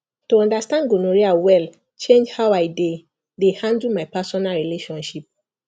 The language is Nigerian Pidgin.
to understand gonorrhea well change how i dey dey handle my personal relationship